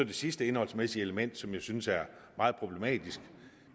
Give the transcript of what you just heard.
det sidste indholdsmæssige element som jeg synes er meget problematisk